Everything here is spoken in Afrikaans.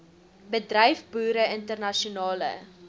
bedryf boere internasionale